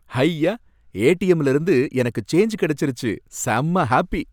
ஹய்யா! ஏடிஎம்ல இருந்து எனக்கு சேன்ஜ் கிடைச்சிருச்சு, செம்ம ஹாப்பி.